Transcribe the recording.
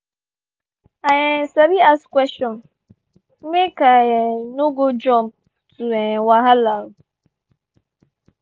i um sabi ask question make i um no go jump to um wahala.